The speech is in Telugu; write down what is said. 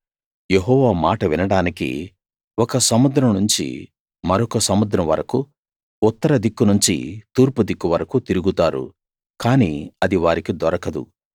యెహోవా మాట వినడానికి ఒక సముద్రం నుంచి మరొక సముద్రం వరకూ ఉత్తర దిక్కు నుంచి తూర్పు దిక్కు వరకూ తిరుగుతారు కానీ అది వారికి దొరకదు